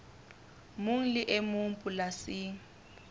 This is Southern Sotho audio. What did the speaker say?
mong le e mong polasing